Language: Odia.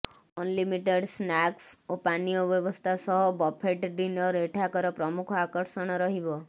ଅନ୍ଲିମିଟେଡ୍ ସ୍ନାକ୍ସ ଓ ପାନୀୟ ବ୍ୟବସ୍ଥା ସହ ବଫେଟ୍ ଡିନର ଏଠାକାର ପ୍ରମୁଖ ଆକର୍ଷଣ ରହିବ